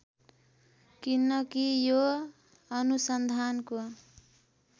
किनकि यो अनुसन्धानको